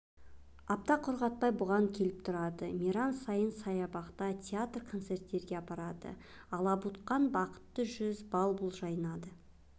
апта құрғатпай бұған келіп тұрады мейрам сайын саябақта театр концертке апарады алабұртқан бақытты жүз бал-бұл жанады